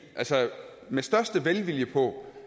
med største velvilje på